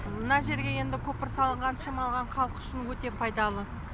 мына жерге енді көпір салынған шамалған халық үшін өте пайдалы